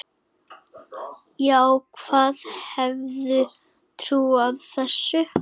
Já, hver hefði trúað þessu?